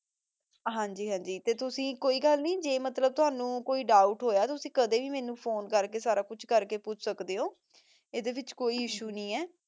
ਹਾਂਜੀ ਹਾਂਜੀ ਤੇ ਤੁਸੀਂ ਕੋਈ ਗਲ ਨਹੀ ਜੇ ਮਤਲਬ ਤੁਹਾਨੂ ਕੋਈ ਦੋਉਬ੍ਤ ਹੋਯਾਤੁਸੀ ਕਦੀ ਵੀ ਮੇਨੂ ਫੋਨੇ ਕਰ ਕੇ ਸਾਰਾ ਕੁਛ ਕਰ ਕੇ ਪੋਚ ਸਕਦੇ ਊ ਏਡੇ ਵਿਚ ਕੋਈ ਇਸ੍ਸੁਏ ਨਹੀ ਆਯ